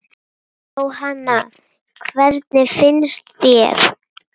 Jóhanna: Hvernig finnst þér?